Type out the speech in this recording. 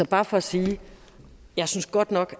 bare for at sige jeg synes godt nok